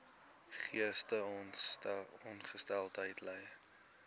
geestesongesteldheid ly